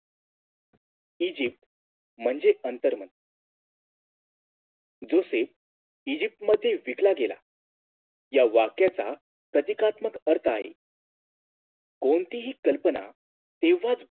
ईजिप म्हणजेच आंतरमन Joseph Egypt मध्ये विकला गेला या वाक्याचा प्रतीकात्मक अर्थ आहे कोणतीही कल्पना तेव्हाच